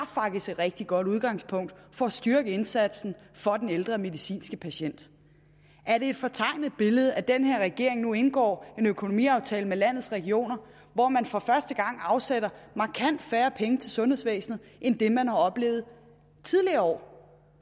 et rigtig godt udgangspunkt for at styrke indsatsen for den ældre medicinske patient er det et fortegnet billede at den her regering nu indgår en økonomiaftale med landets regioner hvor man for første gang afsætter markant færre penge til sundhedsvæsenet end det man har oplevet tidligere år